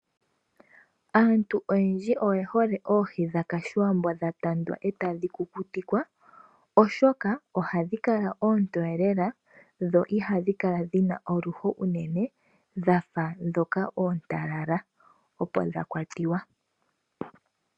Aantu oyendji, oye hole oohi dha ka shiwambo, dha tandwa eta dhi kukutikwa, oshoka oha dhi kala oontoye lela, dho oha dhi kala dhina oluho unene, dha ndhoka oontalala opo dha kwatiwa.